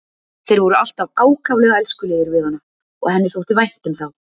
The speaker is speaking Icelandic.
Þeir voru alltaf ákaflega elskulegir við hana og henni þótti vænt um þá.